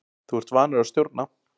Þú ert vanur að stjórna.